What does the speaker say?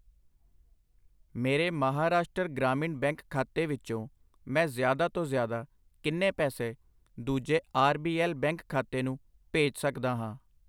ਮੇਰੇ ਮਹਾਰਾਸ਼ਟਰ ਗ੍ਰਾਮੀਣ ਬੈਂਕ ਖਾਤੇ ਵਿੱਚੋ ਮੈਂ ਜ਼ਿਆਦਾ ਤੋਂ ਜ਼ਿਆਦਾ ਕਿੰਨੇ ਪੈਸੇ ਦੂਜੇ ਆਰ ਬੀ ਐੱਲ ਬੈਂਕ ਖਾਤੇ ਨੂੰ ਭੇਜ ਸਕਦਾ ਹਾਂ ?